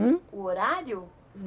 O horário?